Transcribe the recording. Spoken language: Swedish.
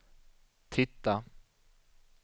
titta